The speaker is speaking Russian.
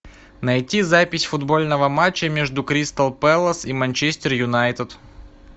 найти запись футбольного матча между кристал пэлас и манчестер юнайтед